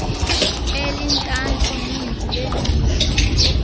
elintantlu ninzi leencutshe